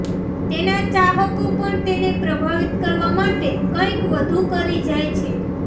તેના ચાહકો પણ તેને પ્રભાવિત કરવા માટે કંઇક વધુ કરી જાય છે